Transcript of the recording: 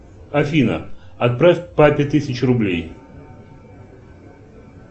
афина отправь папе тысячу рублей